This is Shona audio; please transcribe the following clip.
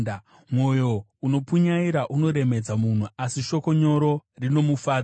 Mwoyo unopunyaira unoremedza munhu, asi shoko nyoro rinomufadza.